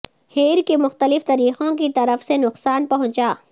hair کی مختلف طریقوں کی طرف سے نقصان پہنچا